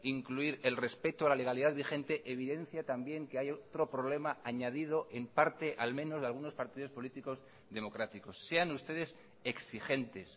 incluir el respeto a la legalidad vigente evidencia también que hay otro problema añadido en parte al menos de algunos partidos políticos democráticos sean ustedes exigentes